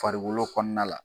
Farikolo kɔnɔna la.